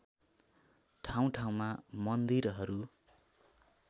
ठाउँ ठाउँमा मन्दिरहरू